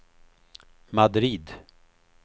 Madrid